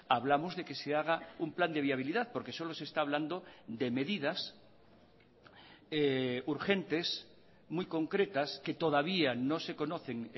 hablamos de que se haga un plan de viabilidad porque solo se está hablando de medidas urgentes muy concretas que todavía no se conocen